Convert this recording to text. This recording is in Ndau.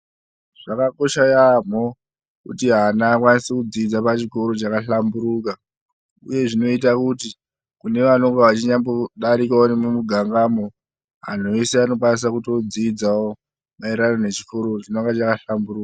Zvakakosha yaamho kuti ana akwanise kudzidza pachikoro chakahlamburuka, uye zvinoita kuti kune vanonga vechinyambodarikawo nemugangamwo, anhu ese anokwanisa kutodzidzawo maererano nechikoro chinonga chakahlamburuka.